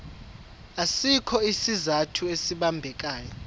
asikho isizathu esibambekayo